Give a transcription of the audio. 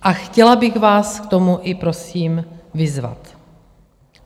A chtěla bych vás k tomu i prosím vyzvat.